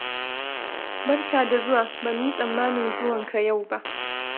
Barka da zuwa. Ba mu yi tsammanin zuwanka yau ba.